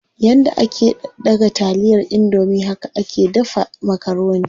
Yanda ake daga taliyar indomie haka ake dafa makaroni.